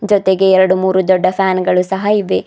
ಜೊತೆಗೆ ಎರಡ್ಮೂರು ದೊಡ್ಡ ಫ್ಯಾನ್ ಗಳು ಸಹ ಇವೆ.